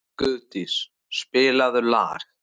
Guðdís, spilaðu lag.